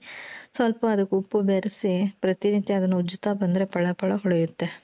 ಸ್ವಲ್ಪ ಅದಕ್ಕೆ ಉಪ್ಪು ಬೆರೆಸಿ ಪ್ರತಿನಿತ್ಯ ಅದನ್ನ ಉಜ್ಜುತ್ತಾ ಬಂದ್ರೆ ಫಳ ಫಳ ಹೊಳಿಯುತ್ತೆ.